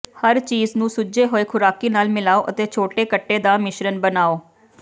ਹਰ ਚੀਜ਼ ਨੂੰ ਸੁੱਜੇ ਹੋਏ ਖੁਰਾਕੀ ਨਾਲ ਮਿਲਾਓ ਅਤੇ ਛੋਟੇ ਕੱਟੇ ਦਾ ਮਿਸ਼ਰਣ ਬਣਾਉ